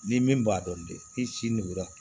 Ni min b'a dɔn de i si nugura